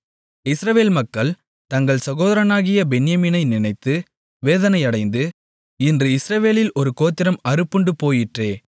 இஸ்ரவேல் மக்கள் தங்கள் சகோதரனாகிய பென்யமீனனை நினைத்து வேதனையடைந்து இன்று இஸ்ரவேலில் ஒரு கோத்திரம் அறுப்புண்டு போயிற்றே